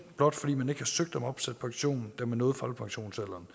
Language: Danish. blot fordi man ikke har søgt om opsat pension da man nåede folkepensionsalderen